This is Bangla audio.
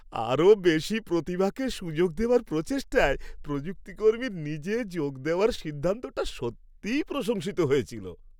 আরও বেশি প্রতিভাকে সুযোগ দেওয়ার প্রচেষ্টায় প্রযুক্তিকর্মীর নিজে যোগ দেওয়ার সিদ্ধান্তটা সত্যিই প্রশংসিত হয়েছিল।